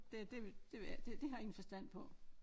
Det det det ved jeg ikke det det har jeg ingen forstand på